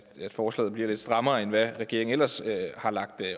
at forslaget bliver lidt strammere end hvad regeringen ellers har lagt